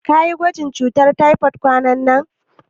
Kayi gwajin cutar taifod kwananan?